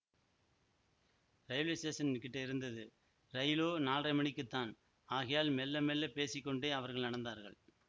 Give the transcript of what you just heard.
railway station கிட்ட இருந்தது ரயிலோ நால்ரை மணிக்குத்தான் ஆகையால் மெள்ள மெள்ளப் பேசி கொண்டே அவர்கள் நடந்தார்கள்